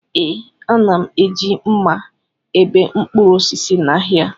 Ee, a na-eji mma ebe mkpụrụ osisi n'ahịa